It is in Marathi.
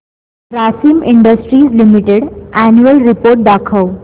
Grasim industries limited annual report दाखव